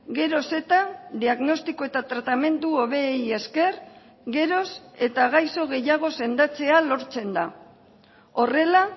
geroz eta diagnostiko eta tratamendu hobeei esker geroz eta gaizo gehiago sendatzea lortzen da horrela